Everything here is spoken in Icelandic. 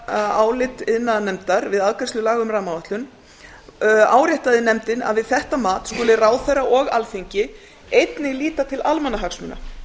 að í meirihlutaáliti iðnaðarnefndar við afgreiðslu laga um rammaáætlun áréttaði nefndin að við þetta mat skuli ráðherra og alþingi einnig líta til almannahagsmuna